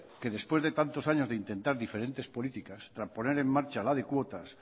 que después de tantos años de intentar diferentes políticas para poner en marcha la de cuotas